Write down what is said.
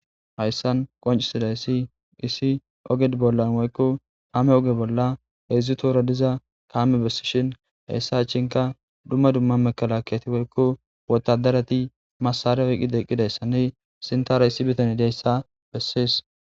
hayssan qonci siday issi isi oged bollan woykko haame oge bolla hezi tooro diza kaame bessishin hayssa achinka dumma dumma makalakkiyati walko wotadarati masare woyqideqqidayssanne sintara issi bitane deyssa bessees